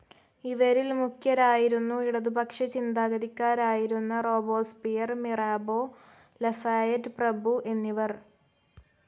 ഇവരിൽ മുഖ്യരായിരുന്നു ഇടതുപക്ഷ ചിന്താഗതിക്കാരായിരുന്ന റോബേസ്പിയർ, മിറാബോ, ലഫായെറ്റ് പ്രഭുഎന്നിവർ.